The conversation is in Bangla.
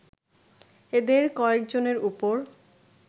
এদের কযেকজনের ওপর